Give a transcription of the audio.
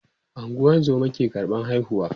ungozoma ke karɓan haihuwa